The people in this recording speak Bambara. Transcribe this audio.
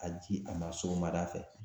A ji a ma sɔgɔmada fɛ